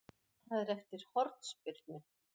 Það er eftir hornspyrnu.